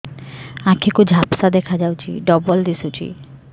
ଆଖି କୁ ଝାପ୍ସା ଦେଖାଯାଉଛି ଡବଳ ଦିଶୁଚି